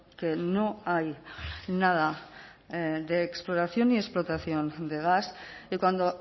que no hay nada de exploración ni explotación de gas y cuando